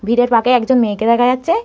ভিড়ের ফাঁকে একজন মেয়েকে দেখা যাচ্ছে।